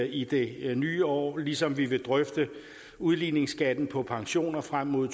i det nye år ligesom vi vil drøfte udligningsskatten på pensioner frem mod